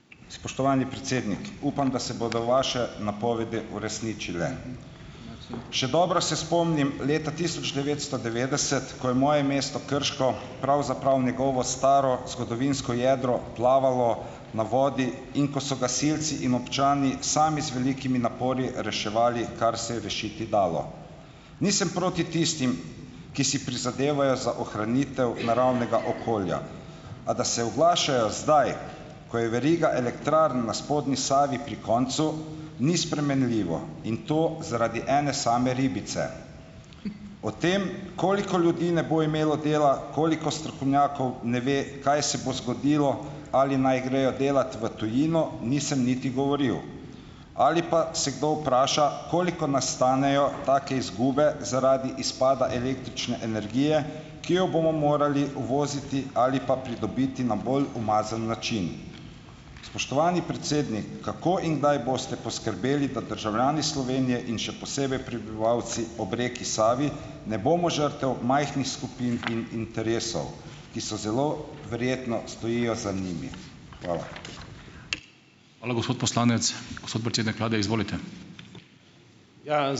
Spoštovani predsednik, upam, da se bodo vaše napovedi uresničile. Še dobro se spomnim leta tisoč devetsto devetdeset, ko je moje mesto Krško, pravzaprav njegovo staro zgodovinsko jedro plavalo na vodi in ko so gasilci in občani sami z velikimi napori reševali, kar se je rešiti dalo. Nisem proti tistim, ki si prizadevajo za ohranitev naravnega okolja , a da se oglašajo zdaj, ko je veriga elektrarn na spodnji Savi pri koncu, ni spremenljivo in to zaradi ene same ribice. O tem, koliko ljudi ne bo imelo dela, koliko strokovnjakov ne ve, kaj se bo zgodilo, ali naj grejo delat v tujino, nisem niti govoril. Ali pa se kdo vpraša, koliko nas stanejo take izgube zaradi izpada električne energije, ki jo bomo morali uvoziti ali pa pridobiti na bolj umazan način. Spoštovani kako in kdaj boste poskrbeli, da državljani Slovenije in še posebej prebivalci ob reki Savi, ne bomo žrtev majhnih skupin in interesov, ki so zelo verjetno stojijo za njimi? Hvala.